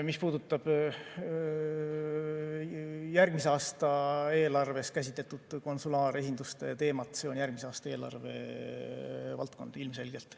Mis puudutab järgmise aasta eelarves käsitletud konsulaaresinduste teemat, siis see on järgmise aasta eelarve valdkond ilmselgelt.